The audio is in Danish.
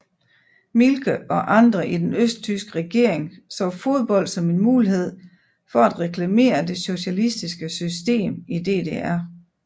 Mielke og andre i den østtyske regering så fodbold som en mulighed for at reklamere det socialistiske system i DDR